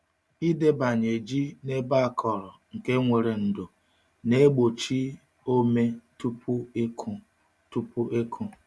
Ịdebanye ji n’ebe akọrọ nke nwere ndò na-egbochi ome tupu ịkụ. tupu ịkụ.